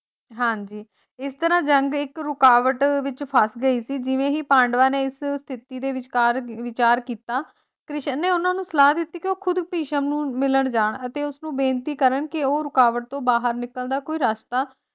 ਹਾਂਜੀ ਇਸ ਤਰਾਂ ਜੰਗ ਇੱਕ ਰੁਕਾਵਟ ਵਿੱਚ ਫਸ ਗਈ ਸੀਗੀ ਜਿਵੇਂ ਹੀ ਪਾਂਡਵਾਂ ਨੇ ਇਸ ਸਥਿਤੀ ਦੇ ਵਿਚਕਾਰ ਵਿਚਾਰ ਕੀਤਾ ਕ੍ਰਿਸ਼ਨ ਨੇ ਉਹਨਾਂ ਨੂੰ ਸਲਾਹ ਦਿੱਤੀ ਕੇ ਉਹ ਖੁਦ ਭਿਸ਼ਮ ਨੂੰ ਮਿਲਣ ਜਾਣ ਅਤੇ ਉਸਨੂੰ ਬੇਨਤੀ ਕਰਨ ਕੇ ਉਹ ਰੁਕਾਵਟ ਤੋਂ ਬਾਹਰ ਨਿਕਲਣ ਦਾ ਰਸਤਾ